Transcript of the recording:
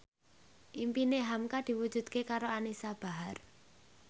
impine hamka diwujudke karo Anisa Bahar